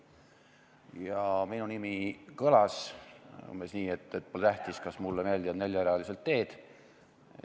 Ja minu nimi kõlas umbes nii, et pole tähtis, kas mulle meeldivad neljarealised teed.